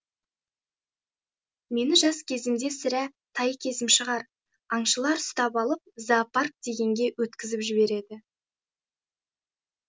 мені жас кезімде сірә тай кезім шығар аңшылар ұстап алып зоопарк дегенге өткізіп жібереді